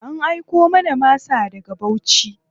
An aiko mana masa daga Bauchi.